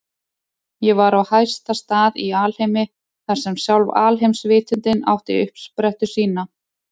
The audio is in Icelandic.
Ég var á hæsta stað í alheimi, þar sem sjálf alheimsvitundin átti uppsprettu sína.